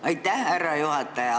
Aitäh, härra juhataja!